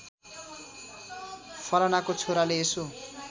फलानाको छोराले यसो